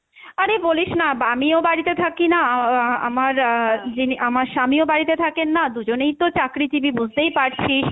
আরে বলিস না বা আমিও বাড়িতে থাকি না আহ আমার আহ যিনি আমার স্বামীও বাড়িতে থাকেন না, দুজনেই তো চাকরিজীবী বুঝতেই পারছিস,